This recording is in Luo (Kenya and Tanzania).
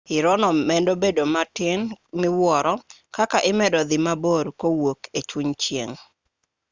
irono medo bedo matin miwuoro kaka imedo dhi mabor kowuok e chuny chieng'